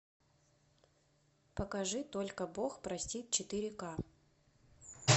покажи только бог простит четыре ка